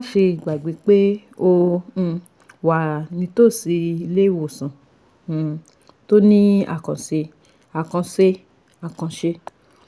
má ṣe gbàgbé pé o um wà nítòsí ilé ìwòsàn um tó ní àkànṣe àkànṣe àkànṣe